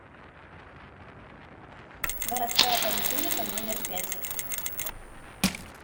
городская поликлиника номер пять